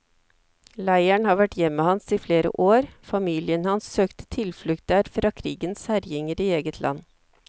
Leiren har vært hjemmet hans i flere år, familien hans søkte tilflukt der fra krigens herjinger i eget land.